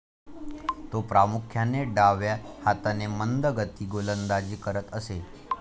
तो प्रामुख्याने डाव्या हाताने मंदगती गोलंदाजी करत असे.